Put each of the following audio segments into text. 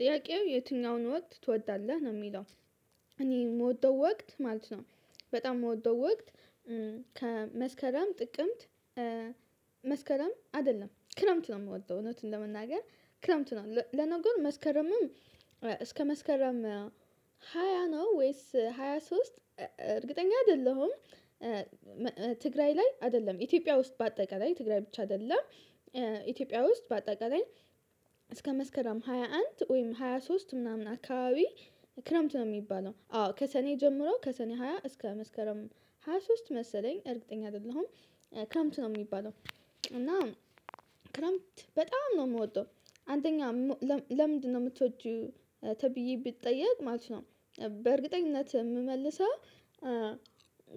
ጥያቄው የትኛውን ወቅት ትወዳለህ ነው የሚለው? እኔ የምወደው ወቅት ማለት ነው። በጣም የምወደው ወቅት ከመስከረም ጥቅምት መስከረም አይደለም ክረምት ነው የምወደው። እውነቱን ለመናገር ክረምት ነው ለነገሩ መስከረምም እስከ መስከረም ሃያ ነው ወይስ ሃያ ሶስት እርግጠኛ አይደለሁም። ትግራይ ላይ አይደለም ኢትዮጵያ ውስጥ በአጠቃላይ ትግራይ ብቻ አይደለም ኢትዮጵያ ውስጥ በአጠቃላይ እስከ መስከረም ሃያ አንድ ወይም ሃያ ሶስት ምናምን አካባቢ ክረምት ነው የሚባለው። አዎ ከሰኔ ጀምሮ ከሰኔ ሃያ እስከ መስከረም ሃያ ሶስት መሰለኝ እርግጠኛ አይደለሁም ክረምት ነው የሚባለው። እና ክረምት በጣም ነው የምወደው። አንደኛ ለምንድነው የምትወጂው ተብዬ ብጠየቅ ማለት ነው? በእርግጠኝነት የምመልሰው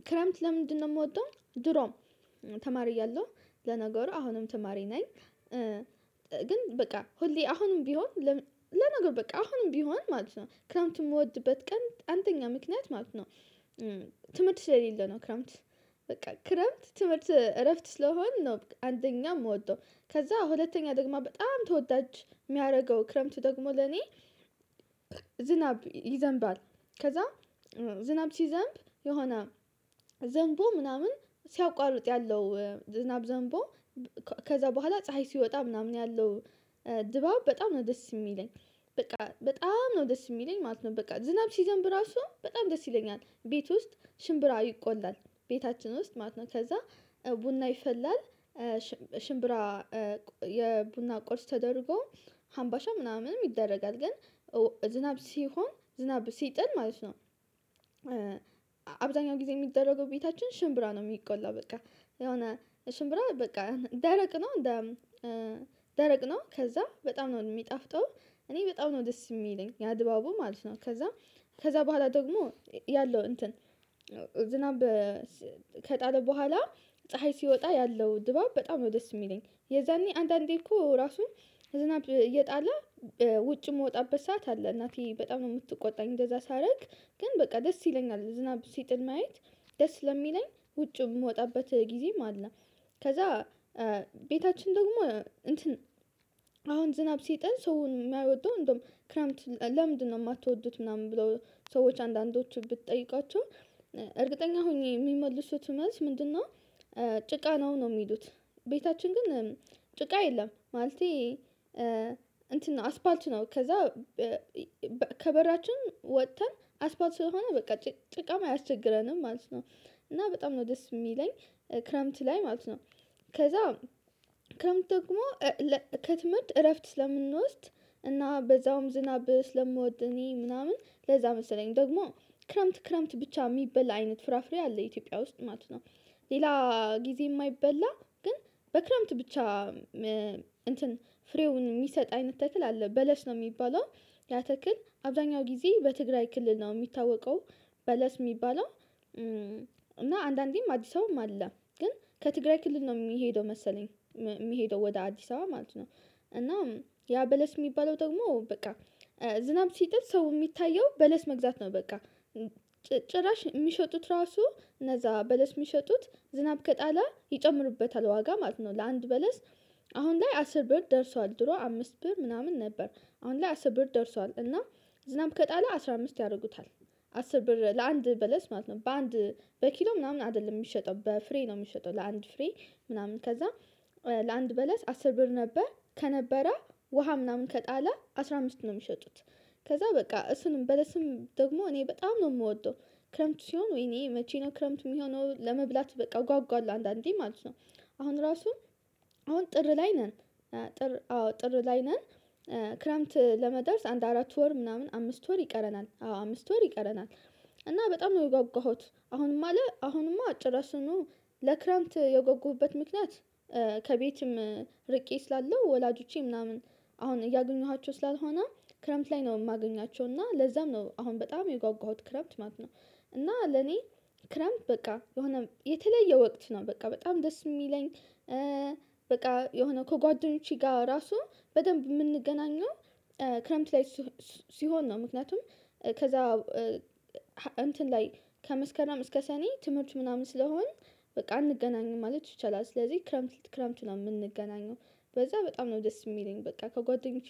ክረምት ለምንድነው የምወደው ድሮም ተማሪ እያለው ለነገሩ አሁንም ተማሪ ነኝ። ግን በቃ ሁሌ አሁንም ቢሆን ለነገሩ በቃ አሁንም ቢሆን ማለት ነው ክረምንት የምወድበት ቀን አንደኛ ምክንያት ማለት ነው። ትምህርት ስለሌለ ነው ክረምት በቃ ክረምት ትምህርት እረፍት ስለሆን ነው። አንደኛ የምወደው ከዛ ሁለተኛ ደግሞ በጣም ተወዳጅ የሚያደርገው ክረምት ደግሞ ለኔ። ዝናብ ይዘንባል ከዛ ዝናብ ሲዘንብ የሆነ ዘንቦ ምናምን ሲያቋርጥ ያለው ዝናብ ዘንቦ ከዛ በኋላ ፀሀይ ሲወጣ ምናምን ያለው ድባብ በጣም ነው ደስ የሚለኝ በቃ በጣም ነው ደስ የሚለኝ ማለት ነው። በቃ ዝናብ ሲዘንብ ራሱ በጣም ደስ ይለኛል ቤት ውስጥ ሽምብራ ይቆላል ቤታችን ውስጥ ማለት ነው። ከዛ ቡና ይፈላል ሽምብራ የቡና ቆርስ ተደርጎ ሀምባሻ ምናምንም ይደረጋል ግን ዝናብ ሲሆን ዝናብ ሲጥል ማለት ነው። አብዛኛው ጊዜ የሚደረገው ቤታችን ሽምብራ ነው የሚቆላው በቃ የሆነ ሽምብራ በቃ ደረቅ ነው። ደረቅ ነው ከዛ በጣም ነው የሚጣፍጠውም እኔ በጣም ነው ደስ የሚለኝ ያ ድባቡ ማለት ነው። ከዛ ከዛ በኋላ ደግሞ ያለው እንትን ዝናብ ከጣለ በኋላ ፀሀይ ሲወጣ ያለው ድባብ በጣም ነው ደስ የሚለኝ የዛኔ አንዳንዴ እኮ ራሱ ዝናብ እየጣለ ውጭ የምወጣበት ሰዓት አለ እናቴ በጣም ነው የምትቆጣኝ እንደዛ ሳደርግ ግን በቃ ደስ ይለኛል። ዝናብ ሲጥል ማየት ደስ ስለሚለኝ ውጭ የምወጣበት ጊዜም አለ። ከዛ ቤታችን ደግሞ እንትን አሁን ዝናብ ሲጥል ሰውን የማይወደው እንደውም ክረምት ለምንድነው የማትወዱት ምናምን ብለው ሰዎች አንዳንዶቹ ብትጠይቃቸው እርግጠኛ ሆኜ የሚመልሱት መልስ ምንድነው? ጭቃ ነው ነው የሚሉት። ቤታችን ግን ጭቃ የለም ማለቴ እንትን ነው አስፓልት ነው ከዛ ከበራችን ወጥተን አስፓልት ስለሆነ በቃ ጭቃም አያስቸግረንም ማለት ነው። እና በጣም ነው ደስ የሚለኝ ክረምት ላይ ማለት ነው። ከዛ ክረምት ደግሞ ከትምህርት እረፍት ስለምንወስድ እና በዛውም ዝናብ ስለምወድ እኔ ምናምን ለዛ መሰለኝ ደግሞ ክረምት ክረምት ብቻ የሚበላ አይነት ፍራፍሬ አለ ኢትዮጵያ ውስጥ ማለት ነው። ሌላ ጊዜ የማይበላ ግን በክረምት ብቻ እንትን ፍሬውን የሚሰጥ አይነት ተክል አለ በለስ ነው የሚባለው ያ ተክል አብዛኛው ጊዜ በትግራይ ክልል ነው የሚታወቀው። በለስ የሚባለው እና አንዳንዴም አዲስ አበባም አለ ግን ከትግራይ ክልል ነው የሚሄደው መሰለኝ የሚሄደው ወደ አዲስ አበባ ማለት ነው። እና ያ በለስ የሚባለው ደግሞ በቃ ዝናብ ሲጠል ሰው የሚታየው በለስ መግዛት ነው በቃ ጭራሽ የሚሸጡት ራሱ እነዛ በለስ የሚሸጡት ዝናብ ከጣለ ይጨምሩበታል ዋጋ ማለት ነው። ለአንድ በለስ አሁን ላይ አስር ብር ደርሷል ድሮ አምስት ብር ምናምን ነበር አሁን ላይ አስር ብር ደርሷል እና ዝናብ ከጣለ አስራ አምስት ያደርጉታል አስር ብር ለአንድ በለስ ማለት ነው በአንድ በኪሎ ምናምን አይደለም የሚሸጠው በፍሬ ነው የሚሸጠው። ለአንድ ፍሬ ምናምን ከዛ ለአንድ በለስ አስር ብር ነበር ከነበረ ውሃ ምናምን ከጣለ አስራ አምስት ነው የሚሸጡት። ከዛ በቃ እሱን በለስም ደግሞ እኔ በጣም ነው የምወደው። ክረምት ሲሆን ወይኔ መቼ ነው ክረምት የሚሆነው ለመብላት በቃ እጓጓለሁ አንዳንዴ ማለት ነው። አሁን ራሱ አሁን ጥር ላይ ነን ጥር አዎ ጥር ላይ ነን ክረምት ለመድረስ አንድ አራት ወር ምናምን አምስት ወር ይቀረናል አዎ አምስት ወር ይቀረናል። እና በጣም ነው የጓጓሁት አሁንም አለ አሁንም ጭራሹኑ ለክረምት የጓጓሁበት ምክንያት ከቤትም ርቄ ስላለው ወላጆቼ ምናምን አሁን እያገኝኋቸው ስላልሆነ ክረምት ላይ ነው የማገኛቸው እና ለዛም ነው አሁን በጣም የጓጓሁት ክረምት ማለት ነው። እና ለኔ ክረምት በቃ የሆነ የተለየ ወቅት ነው በቃ በጣም ደስ የሚለኝ። በቃ የሆነ ከጓደኞቼ ጋር ራሱ በደንብ የምንገናኘው ክረምት ላይ ሲሆን ነው። ምክንያቱም ከዛ እንትን ላይ ከመስከረም እስከ ሰኔ ትምህርት ምናምን ስለሆን በቃ አንገናኝም ማለት ይቻላል። ስለዚህ ክረምት ክረምት ነው የምንገናኘው በዛ በጣም ነው ደስ የሚለኝ በቃ ከጓደኞቼ